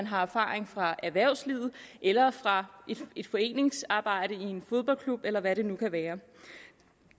har erfaringer fra erhvervslivet eller fra foreningsarbejde i en fodboldklub eller hvad det nu kan være